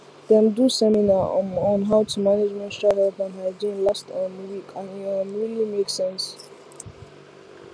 dem do seminar um on how to manage menstrual health and hygiene last um week and e um really make sense